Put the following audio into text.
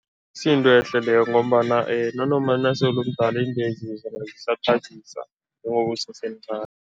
Akusiyo intwehle leyo ngombana nanoma nasele umdala iintwezi zona njengoba usesemncani.